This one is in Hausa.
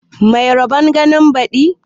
Mai rabon ganin baɗi